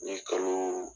N ye kalo